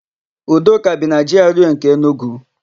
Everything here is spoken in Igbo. Udoka bi na Jiarụee nke Enugu.